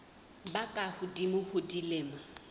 ba ka hodimo ho dilemo